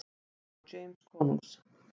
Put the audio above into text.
gáfu James konungs.